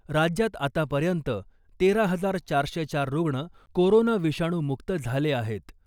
राज्यात आतापर्यंत तेरा हजार चारशे चार रुग्ण कोरोना विषाणू मुक्त झाले आहेत .